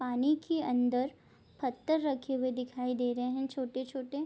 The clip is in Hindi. पानी के अंदर पत्थर रखे हुए दिखाई दे रहे हैं छोटे-छोटे।